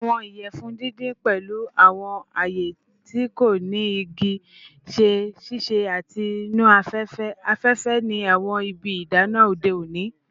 Awọn iyẹfun didin, pẹlu awọn aaye ti ko ni igi, ṣe sise ati nu afẹfẹ afẹfẹ ni awọn ibi idana ode oni.